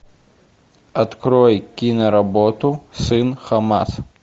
открой киноработу сын хамас